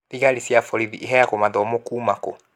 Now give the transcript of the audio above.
Thigarĩ cia borithĩ ĩhĩyagũo mawatho kuuma kũ?